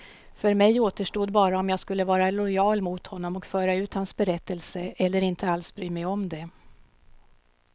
För mig återstod bara om jag skulle vara lojal mot honom och föra ut hans berättelse, eller inte alls bry mig om det.